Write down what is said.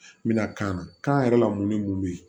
N bɛna kan na kan yɛrɛ la mun ni mun bɛ yen